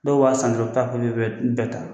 Dɔw b'a san dɔrɔn u bɛ taa a bɛɛ ta